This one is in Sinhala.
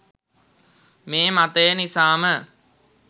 මේ මතය නිසාම